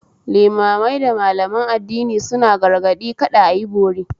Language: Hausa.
Limamai da Malaman addini suna gargaɗi kada ayi bori